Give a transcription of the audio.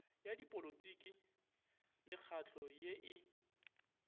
ya dipolotiki mekgahlo ye e